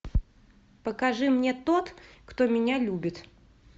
покажи мне тот кто меня любит